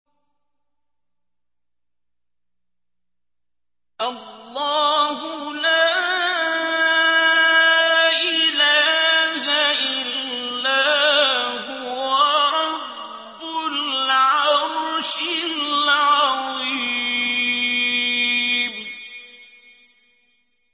اللَّهُ لَا إِلَٰهَ إِلَّا هُوَ رَبُّ الْعَرْشِ الْعَظِيمِ ۩